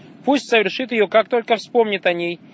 пусть совершит её как только вспомнит о ней